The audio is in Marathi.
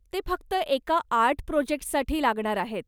ते फक्त एका आर्ट प्रोजेक्टसाठी लागणार आहेत.